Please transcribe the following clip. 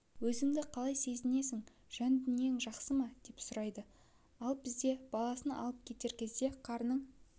өзіңді қалай сезіндің жан-дүниең жақсы ма деп сұрайды ал бізде баласын алып кетер кезде қарның